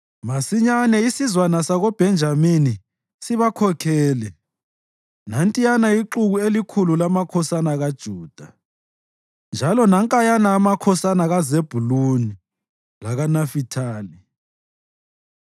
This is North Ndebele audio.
Masinyane isizwana sakoBhenjamini sibakhokhele, nantiyana ixuku elikhulu lamakhosana kaJuda, njalo nankayana amakhosana kaZebhuluni lakaNafithali.